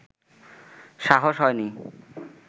সাহস হয়নি